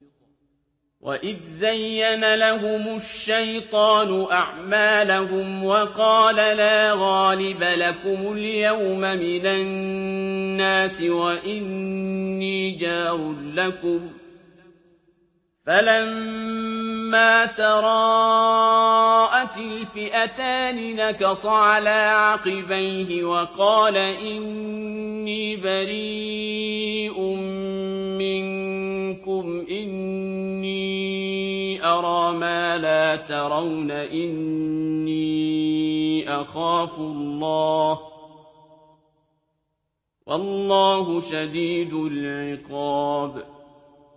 وَإِذْ زَيَّنَ لَهُمُ الشَّيْطَانُ أَعْمَالَهُمْ وَقَالَ لَا غَالِبَ لَكُمُ الْيَوْمَ مِنَ النَّاسِ وَإِنِّي جَارٌ لَّكُمْ ۖ فَلَمَّا تَرَاءَتِ الْفِئَتَانِ نَكَصَ عَلَىٰ عَقِبَيْهِ وَقَالَ إِنِّي بَرِيءٌ مِّنكُمْ إِنِّي أَرَىٰ مَا لَا تَرَوْنَ إِنِّي أَخَافُ اللَّهَ ۚ وَاللَّهُ شَدِيدُ الْعِقَابِ